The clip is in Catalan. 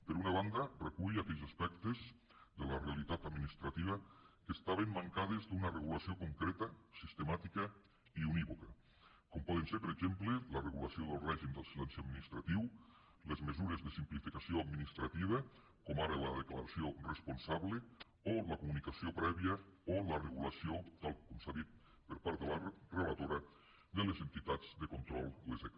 per una banda recull aquells aspectes de la realitat administrativa que estaven mancats d’una regulació concreta sistemàtica i unívoca com poden ser per exemple la regulació del règim del silenci administratiu les mesures de simplificació administrativa com ara la declaració responsable o la comunicació prèvia o la regulació tal com s’ha dit per part de la relatora de les entitats de control les eca